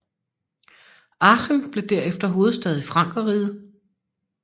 Aachen blev derefter hovedstad i Frankerriget